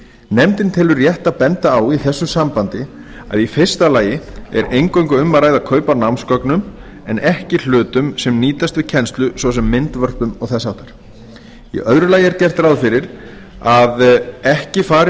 nefndin telur rétt að benda á í þessu sambandi að í fyrsta lagi er eingöngu um að ræða kaup á námsgögnum en ekki hlutum sem nýtast við kennslu svo sem myndvörpum og þess háttar í öðru lagi er gert ráð fyrir að ekki fari